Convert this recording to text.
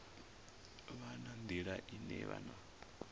vha na nḓila ine vhana